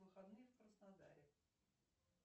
выходные в краснодаре